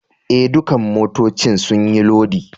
Eh, ɗukan motoccin sun yi lodi.